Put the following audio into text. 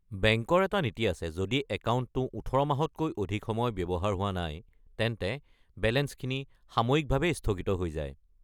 বেংকৰ এটা নীতি আছে যদি একাউণ্টটো ১৮ মাহতকৈ অধিক সময় ব্যৱহাৰ হোৱা নাই, তেন্তে বেলেঞ্চখিনি সাময়িকভাৱে স্থগিত হৈ যায়।